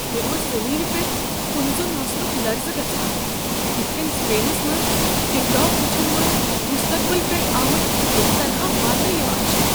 مےٚ اوس زمینہِ پیٹھ كن زوٚن آسنک لرزٕ گژھان یِتھ كٔنۍ سپینس منٛز ٹک ٹاک وٕچھن وٲلۍ مٖستقبل پٮ۪ٹھٕ آمٕتۍ تہِ تنہا مانٛنہٕ یوان چھ۔